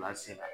se ka